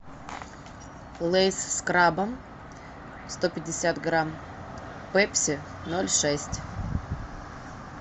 лейс с крабом сто пятьдесят грамм пепси ноль шесть